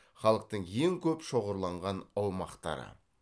халықтың ең көп шоғырланған аумақтары